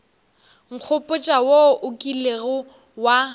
nkgopotša wo o kilego wa